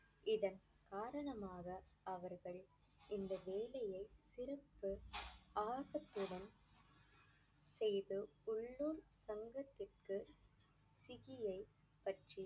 இதன் காரணமாக அவர்கள் இந்த வேலையை சிறப்பு ஆர்வத்துடன் செய்து உள்ளூர் தங்கத்திற்கு பற்றி